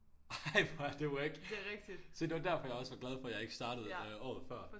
Ej hvor er det wack se det var derfor jeg også var glad for jeg ikke startede øh året før